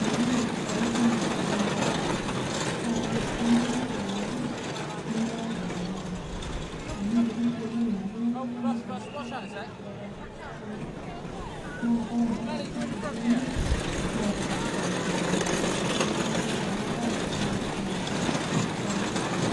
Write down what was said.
meyou impisai kumok piinteru. Naa ore sii enkitotiore enche nemeeta  garama. Amu nkutiti tokitin ake inyang'aki anaa kuna poka nainosita tenakata kuna, naa ore embata sapuk piimirr neeta mpisai sidan. Neaku ore enabaye naa enetipat kanyorr nanu.